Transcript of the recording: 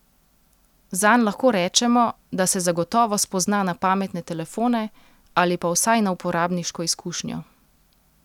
Zanj lahko rečemo, da se zagotovo spozna na pametne telefone ali pa vsaj na uporabniško izkušnjo.